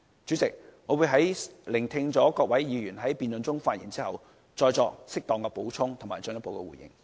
主席，我會聆聽各位議員在辯論中的發言，之後再作適當補充和進一步回應。